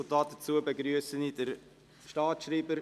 Dazu begrüsse ich den Staatsschreiber.